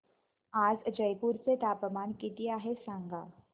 आज जयपूर चे तापमान किती आहे सांगा